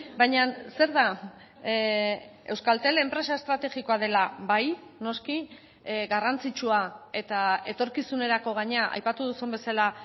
baina zer da euskaltel enpresa estrategikoa dela bai noski garrantzitsua eta etorkizunerako gainera aipatu duzun bezala